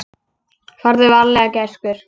Farðu varlega gæskur.